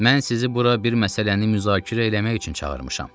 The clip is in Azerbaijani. Mən sizi bura bir məsələni müzakirə eləmək üçün çağırmışam.